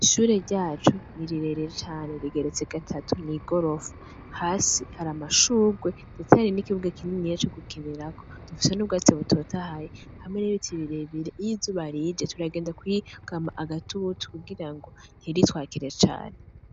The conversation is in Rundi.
Ishure ryacu, ni rirerire cane rigeretse gatatu, n'igorofa. Hasi haramashugwe ndetse hari nikibuga kininiya co gukinirako. Dufise n'ubwatsi butotahaye hamwe nibiti birebire. Iy'izuba rije turagenda kwugama agatutu kugirango ntiritwakire cane.